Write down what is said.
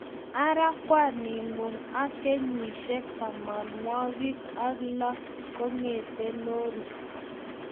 Ara kwaningung ak kenyisiek tamanwogik ak lo kogete lorit